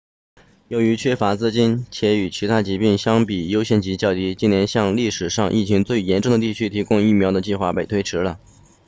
由于缺乏资金且与其他疾病相比优先级较低今年向历史上疫情最严重的地区提供疫苗的计划被推迟了